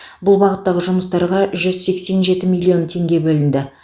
бұл бағыттағы жұмыстарға жүз сексен жеті миллион теңге бөлінді